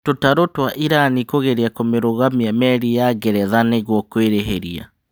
Tũtarũ twa Irani kũgeria kũmĩrũgamia merĩ ya Ngeretha nĩgũo kũĩrĩhĩria